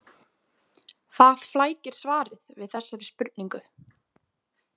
Það flækir svarið við þessari spurningu.